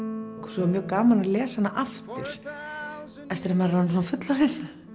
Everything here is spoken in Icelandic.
svo var mjög gaman að lesa hana aftur þegar maður er orðinn svona fullorðinn